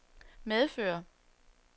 medfører